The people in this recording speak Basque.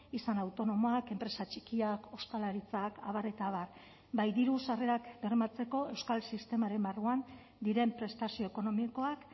izan autonomoak enpresa txikiak ostalaritzak abar eta abar bai diru sarrerak bermatzeko euskal sistemaren barruan diren prestazio ekonomikoak